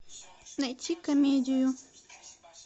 найти комедию